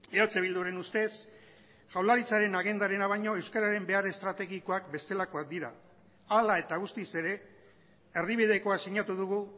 eh bilduren ustez jaurlaritzaren agendarena baino euskararen behar estrategikoak bestelakoak dira hala eta guztiz ere erdibidekoa sinatu dugu